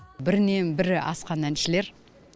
бірінен бірі асқан әншілер